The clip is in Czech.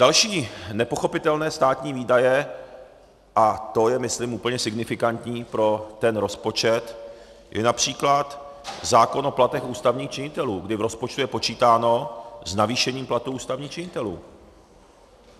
Další nepochopitelné státní výdaje, a to je myslím úplně signifikantní pro ten rozpočet, je například zákon o platech ústavních činitelů, kdy v rozpočtu je počítáno s navýšením platů ústavních činitelů.